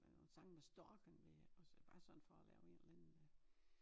Øh nogen sange med storken med også bare sådan for at lave en eller anden